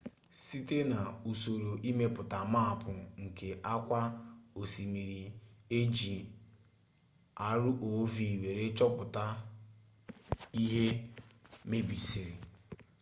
site na'usoro imepụta maapụ nke akwa osimiri eji rov were chota ihe mebisiri